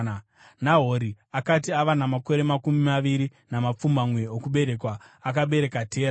Nahori akati ava namakore makumi maviri namapfumbamwe okuberekwa, akabereka Tera.